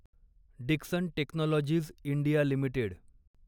Dixon Technologies India limited